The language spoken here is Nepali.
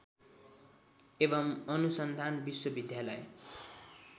एवं अनुसन्धान विश्वविद्यालय